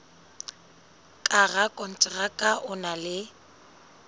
ka rakonteraka o na le